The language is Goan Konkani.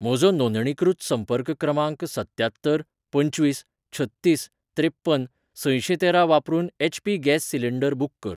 म्हजो नोंदणीकृत संपर्क क्रमांक सत्त्यात्तर पंचवीस छत्तीस त्रेप्पन सशेंतेरा वापरून एचपी गॅस सिलेंडर बुक कर.